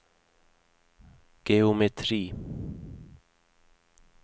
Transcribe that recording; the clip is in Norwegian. geometri